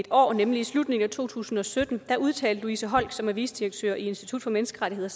år nemlig i slutningen af to tusind og sytten udtalte louise holck som er vicedirektør i institut for menneskerettigheder